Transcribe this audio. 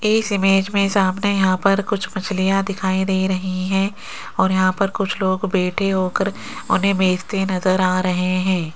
इस इमेज में सामने यहां पर कुछ मछलियां दिखाई दे रही हैं और यहां पर कुछ लोग बैठे होकर उन्हें बेचते नजर आ रहे हैं।